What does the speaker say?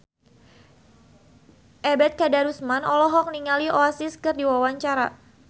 Ebet Kadarusman olohok ningali Oasis keur diwawancara